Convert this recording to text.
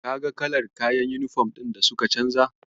Kaga kalar kayan yunifom din da suka canja?